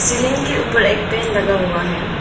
Ceiling के ऊपर एक फैन लगा हुआ है।